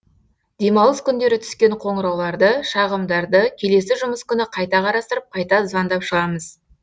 демалыс күндері түскен қоңырауларды шағымдарды келесі жұмыс күні қайта қарастырып қайта звондап шығамыз